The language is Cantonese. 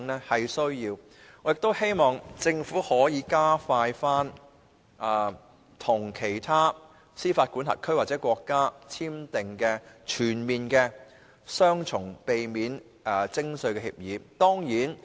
我亦希望政府可以加快與其他司法管轄區或國家簽訂全面性避免雙重課稅協定。